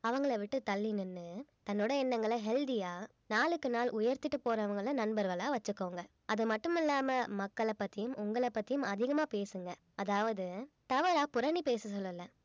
அவங்களை விட்டு தள்ளி நின்னு தன்னோட எண்ணங்களை healthy ஆ நாளுக்கு நாள் உயர்த்திட்டு போறவங்களை நண்பர்களா வச்சுக்கோங்க அது மட்டும் இல்லாம மக்களை பத்தியும் உங்களை பத்தியும் அதிகமா பேசுங்க அதாவது தவறா புரணி பேச சொல்லலை